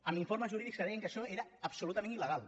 amb informes jurídics que deien que això era absolutament il·legal